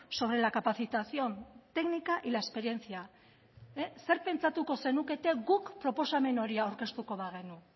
sobre la capacitación técnica y la experiencia zer pentsatuko zenukete guk proposamen hori aurkeztuko bagenu